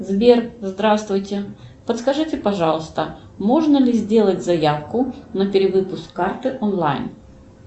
сбер здравствуйте подскажите пожалуйста можно ли сделать заявку на перевыпуск карты онлайн